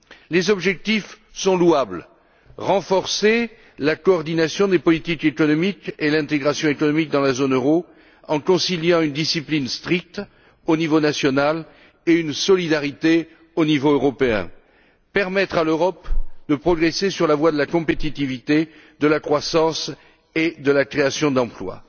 Les objectifs sont louables d'une part, renforcer la coordination des politiques économiques et l'intégration économique dans la zone euro, en conciliant une discipline stricte au niveau national et une solidarité au niveau européen et, d'autre part, permettre à l'Europe de progresser sur la voie de la compétitivité, de la croissance et de la création d'emplois.